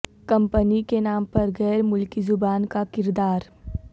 company کے نام پر غیر ملکی زبان کا کردار